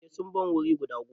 Eh sun ban wuri guda goma.